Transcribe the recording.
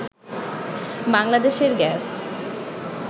বাংলাদেশের গ্যাস